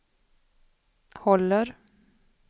håller